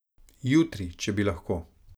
Jutri, če bi lahko!